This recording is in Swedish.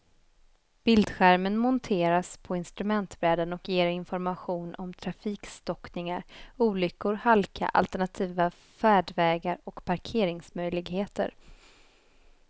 Bildskärmen monteras på instrumentbrädan och ger information om trafikstockningar, olyckor, halka, alternativa färdvägar och parkeringsmöjligheter.